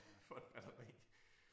For et batteri